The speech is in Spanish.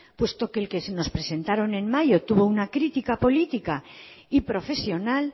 puesto que el que se nos presentaron en mayo tuvo una crítica política y profesional